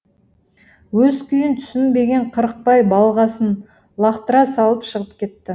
өз күйін түсінбеген қырықбай балғасын лақтыра салып шығып кетті